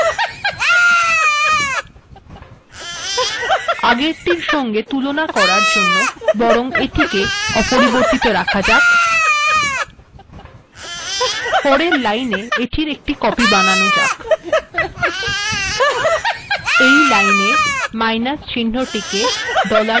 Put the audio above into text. এইক্ষেত্রে মাইনাস চিহ্নটিকেও ডলারের মধ্যে লেখা যাক